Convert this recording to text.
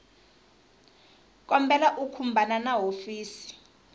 kombela u khumbana na hofisi